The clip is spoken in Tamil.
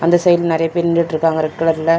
அந்த சைடுல நெறையா பேர் நின்னுட்டிருக்காங்க ரெட் கலர்ல .